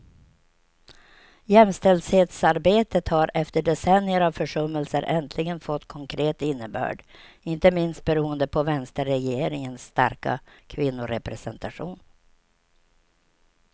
Jämställdhetsarbetet har efter decennier av försummelser äntligen fått konkret innebörd, inte minst beroende på vänsterregeringens starka kvinnorepresentation.